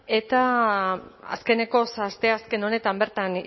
eta azkenekoz asteazken honetan bertan